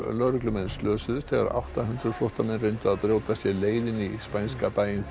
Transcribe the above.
lögreglumenn slösuðust þegar átta hundruð flóttamenn reyndu að brjóta sér leið inn í spænska bæinn